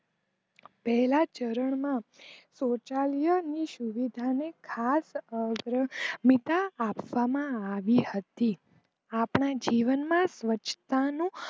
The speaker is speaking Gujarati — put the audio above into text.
પહેલા ચારણ માં સૌચાલય ની સુવિધા ખાસ અગત્યા આપવામાં આવી હતી આપણા જીવન માં સ્વચ્છતા નું